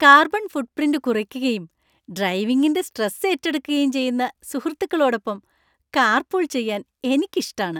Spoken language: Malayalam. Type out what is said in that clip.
കാർബൺ ഫുട്പ്രിന്റ് കുറയ്ക്കുകയും ഡ്രൈവിങിന്‍റെ സ്ട്രെസ് ഏറ്റെടുക്കുകയും ചെയ്യുന്ന സുഹൃത്തുക്കളോടൊപ്പം കാർപൂൾ ചെയ്യാന്‍ എനിക്കിഷ്ടാണ്.